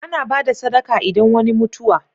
Ana bada sadaka idan wani mutuwa